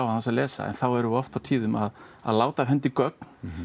án þess að lesa en þá erum við oft á tíðum að láta af hendi gögn